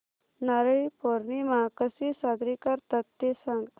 नारळी पौर्णिमा कशी साजरी करतात ते सांग